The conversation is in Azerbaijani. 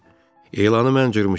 Elanı mən cırmışam.